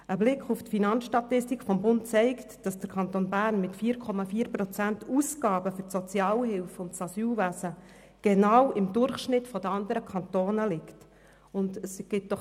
Ein Blick auf die Finanzstatistik des Bundes zeigt, dass der Kanton Bern mit 4,4 Prozent Ausgaben für die Sozialhilfe und das Asylwesen im Vergleich zu den anderen Kantonen genau im Durchschnitt liegt.